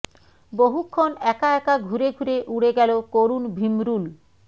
বহুক্ষণ একা একা ঘুরে ঘুরে উড়ে গেল করুণ ভিমরুল